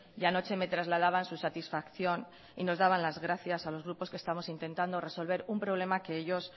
y anoche me trasladaban su satisfacción y nos daban las gracias a los grupos que estamos intentando resolver un problema que ellos